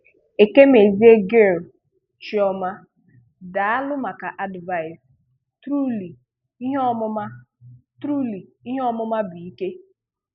Ekemeziè Gill Chioma, Dààlụ maka advice. Truly, ihe ọmụma Truly, ihe ọmụma bụ, ìkè.